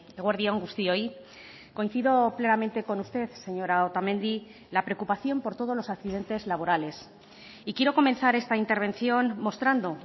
eguerdi on guztioi coincido plenamente con usted señora otamendi la preocupación por todos los accidentes laborales y quiero comenzar esta intervención mostrando